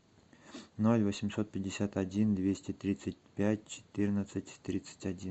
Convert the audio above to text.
ноль восемьсот пятьдесят один двести тридцать пять четырнадцать тридцать один